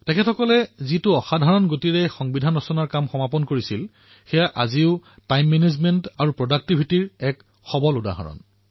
তেওঁলোকে যি অসাধাৰণ গতিৰে সংবিধান প্ৰস্তুত কৰিলে আজিও এয়া সময় ব্যৱস্থাপনা আৰু উৎপাদনশীলতাৰ এক অত্যুত্তম উদাহৰণ